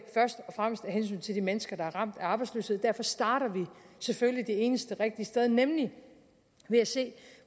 først og fremmest af hensyn til de mennesker der er ramt af arbejdsløshed derfor starter vi selvfølgelig det eneste rigtige sted nemlig med at se